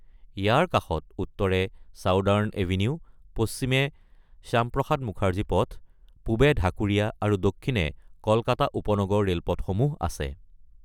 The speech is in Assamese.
ইয়াৰ কাষত উত্তৰে চাউদাৰ্ণ এভিনিউ, পশ্চিমে শ্যামপ্ৰসাদ মুখাৰ্জী পথ, পূবে ঢাকুৰীয়া আৰু দক্ষিণে কলকাতা উপনগৰ ৰেলপথসমূহ আছে।